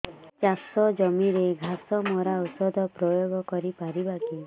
ଚାଷ ଜମିରେ ଘାସ ମରା ଔଷଧ ପ୍ରୟୋଗ କରି ପାରିବା କି